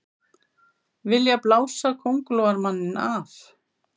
Vilja blása Kóngulóarmanninn af